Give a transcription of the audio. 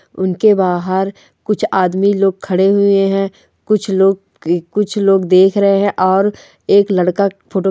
उनके बाहर कुछ आदमी लोग खड़े हुए है कुछ लोग कुछ लोग देख रहे है और एक लड़का--